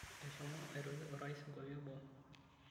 Eshomo aitoki orais nkuapi e boo.